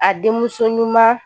A denmuso ɲuman